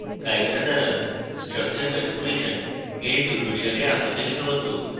chimera দ্বারা structure manipulation এর tutorial আপনাদের স্বাগত